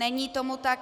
Není tomu tak.